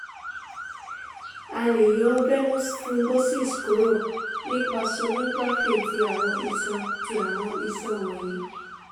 a le yo venous thrombosis kuro nipa sonography ti awọn ison ti awọn ison wonyi